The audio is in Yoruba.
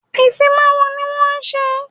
Ìfimawo ni wọ́n ń ṣe